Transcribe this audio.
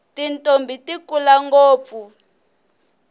tintombhi ti kula ngopfu